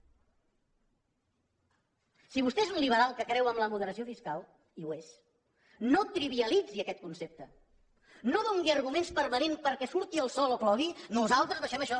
si vostè és un liberal que creu en la moderació fiscal i ho és no trivialitzi aquest concepte no doni arguments permanents perquè surti el sol o plogui nosaltres deixem això